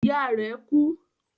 Ìyá rẹ̀ kú.